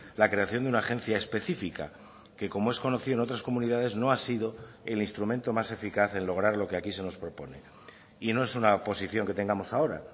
la creación de una agencia específica que como es conocido en otras comunidades no ha sido el instrumento más eficaz en lograr lo que aquí se nos propone y no es una posición que tengamos ahora